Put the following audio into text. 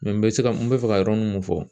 n bɛ se lka , n bɛ fɛ ka yɔrɔnin mun fɔ.